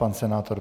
Pan senátor.